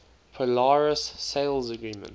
polaris sales agreement